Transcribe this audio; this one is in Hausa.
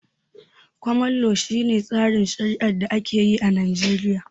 Koman lo, shi ne tsarin shari'ar da ake yi a Najeriya